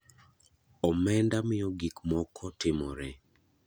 Omenda miyo gik moko timore.